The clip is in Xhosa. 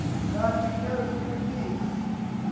kanti ke kukufika